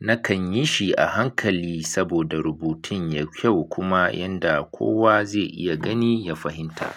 nakan yi shi a hankali saboda rubutun yai kyau kuma yanda kowa zai iya gani ya fahimta.